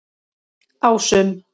Ásum